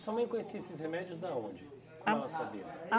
E sua mãe conhecia esses remédios da onde? Como ela sabia?